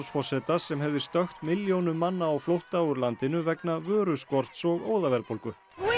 forseta sem hefði stökkt milljónum manna á flótta úr landinu vegna vöruskorts og óðaverðbólgu